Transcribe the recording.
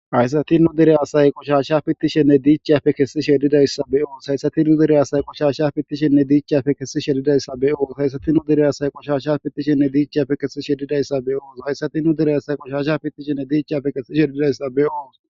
Hayssati nu dere asay qoshasha pittishenne diichchafe kessishshe didayssa be'oos hayssati nu dere asay qoshasha pittishenne diichchafe kessishe dizayssa be'oos haysati nu dere asay qoshasha fittishenne diichafe kesishshe dizayssa be'oos hayssatinnu dere asay qoshasha fittishenne diichchafe kesi shedidayssa be'oos